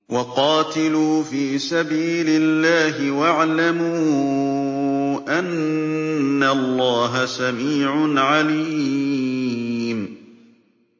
وَقَاتِلُوا فِي سَبِيلِ اللَّهِ وَاعْلَمُوا أَنَّ اللَّهَ سَمِيعٌ عَلِيمٌ